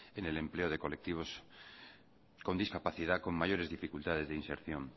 en el empleo de colectivos con discapacidad con mayores dificultades de inserción